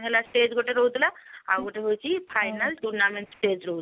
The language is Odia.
ହେଲା stage ଗୋଟେ ରହୁଥିଲା ଆଉ ଗୋଟେ ହଉଛି final tournament stage ରହୁ